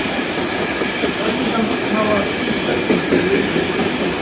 En hvað skyldi hann hafa sýnt stelpunum fyrir leikinn í kvöld?